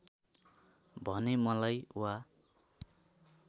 भने मलाई वा